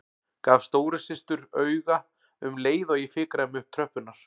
Gaf stóru systur auga um leið og ég fikraði mig upp tröppurnar.